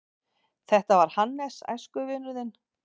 Þetta var Hannes, æskuvinur þinn.